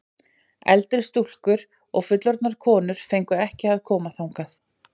En eldri stúlkur og fullorðnar konur fengu ekki að koma þangað.